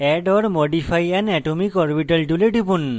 add or modify an atomic orbital tool টিপুন